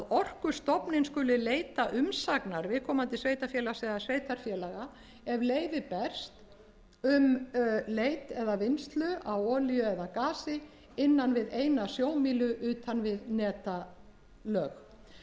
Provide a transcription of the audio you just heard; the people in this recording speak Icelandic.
orkustofnun skuli leita umsagnar viðkomandi sveitarfélags eða sveitarfélaga ef leyfi berst um leit eða vinnslu á olíu eða gasi innan við eina sjómílu utan við netalög þetta er auðvitað